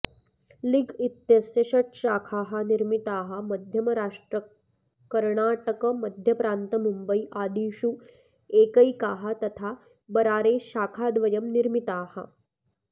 league इत्यस्य षट्शाखाः निर्मिताः मध्यमराष्ट्रकर्णाटकमध्यप्रान्तमुम्बई आदिषु एकैकाः तथा बरारे शाखाद्वयम् निर्मिताः